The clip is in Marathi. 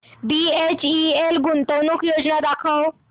बीएचईएल गुंतवणूक योजना दाखव